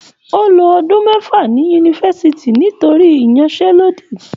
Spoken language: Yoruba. O ló ọdún mẹfa ní yunifásítì nítorí iyansẹ̀lodi.